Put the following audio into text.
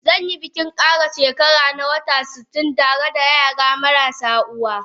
Zanyi bikin kara she kara ta Wata satin tareda yara marasu uwa.